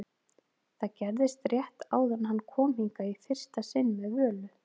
Það gerðist rétt áður en hann kom hingað í fyrsta sinn með Völu-